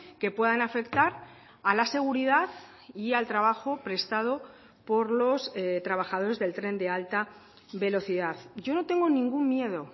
que puedan afectar a la seguridad y al trabajo prestado por los trabajadores del tren de alta velocidad yo no tengo ningún miedo